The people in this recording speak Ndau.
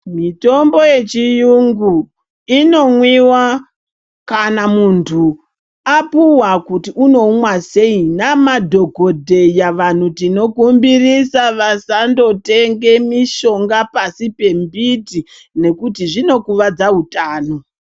Mithombo yechiyungu inomwiwa kana munthu apuwa kuti unoumwa sei namadhokodheya vanthu tinokumbirisa kuti vasandotenge mishonga pasi pembiti nekuti zvinokuvadza uthano.